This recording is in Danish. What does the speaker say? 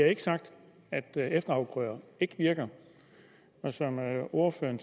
ikke sagt at efterafgrøder ikke virker og som ordføreren